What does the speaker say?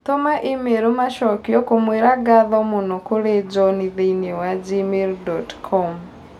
Tũma i-mīrū macokio kũmũira ngatho mũno kũrĩ John thĩĩnĩ wa gmail dot com